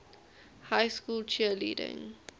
high school cheerleading